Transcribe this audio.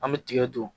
An bɛ tigɛ don